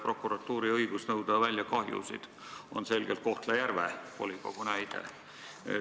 Prokuratuuri õigust kahjusid välja nõuda illustreerib hästi Kohtla-Järve volikogu näide.